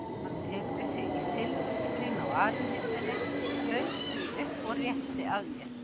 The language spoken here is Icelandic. Hann teygði sig í silfurskrín á arinhillunni, lauk því upp og rétti að mér.